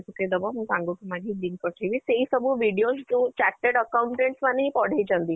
ପକେଇ ଦବ, ମୁଁ ସାଙ୍ଗ ଠୁ ମାଗି link ପଠେଇବି ସେଇ ସବୁ videos ଯୋଉ charted accountant ମାନେ ହିଁ ପଢେଇଛନ୍ତି